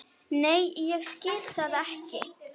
Nei ég skil það ekki.